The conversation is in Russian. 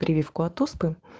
прививку от оспы